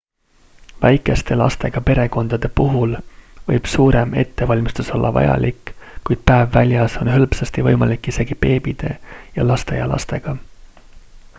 väikeste lastega perekondade puhul võib suurem ettevalmistus olla vajalik kuid päev väljas on hõlpsasti võimalik isegi beebide ja lasteaialastega